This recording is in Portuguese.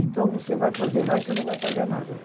Então, você vai fazer lá e não vai pagar nada.